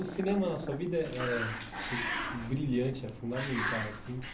O cinema na sua vida é, achei brilhante, é fundamental assim.